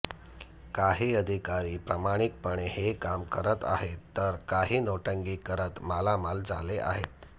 काही अधिकारी प्रामाणिकपणे हे काम करत आहेत तर काही नौटंकी करत मालामाल झाले आहेत